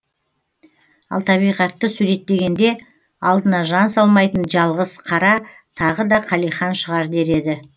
ал табиғатты суреттегенде алдына жан салмайтын жалғыз қара тағы да қалихан шығар дер еді